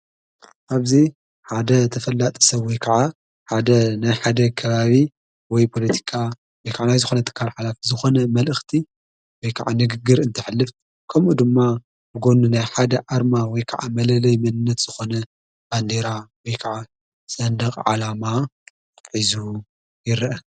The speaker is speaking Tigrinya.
ኣብዚ ሓደ ተፈላጠ ሰብዊ ከዓ ሓደ ናይ ሓደ ክባቢ ወይ ጶሎቲቃ ነከዕናይ ዝኾነ ተካል ኃላፍ ዝኾነ መልእኽቲ ወይ ከዓ ንግግር እንትሕልፍት ከምኡ ድማ ብጐኑ ናይ ሓደ ኣርማ ዊ ከዓ መለለይ ምንነት ዝኾነ ባንዴራ ከዓ ዘንድቕ ዓላማ ሒዙ ይረአ።